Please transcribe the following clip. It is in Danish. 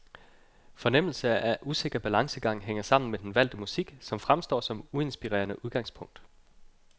Fornemmelsen af usikker balancegang hænger sammen med den valgte musik, som fremstår som uinspirerende udgangspunkt.